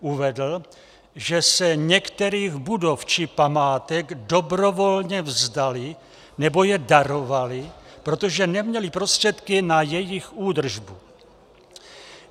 Uvedl, že se některých budov či památek dobrovolně vzdali nebo je darovali, protože neměli prostředky na jejich údržbu.